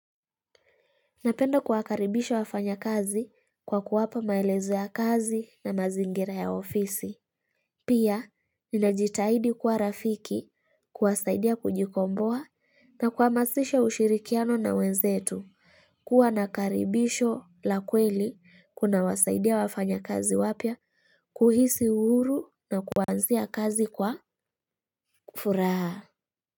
Napenda kuwakaribisha wafanyakazi kwa kuwapa maelezo ya kazi na mazingira ya ofisi. Pia, ninajitahidi kuwa rafiki kuwasaidia kujikomboa na kuhamasisha ushirikiano na wenzetu. Kuwa na karibisho la kweli kuna wasaidia wafanyakazi wapya, kuhisi uhuru na kuanzia kazi kwa furaha.